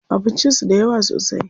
Abincin su da yawa sosai.